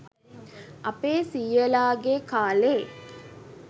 අපේ සීයලා ගේ කාලේ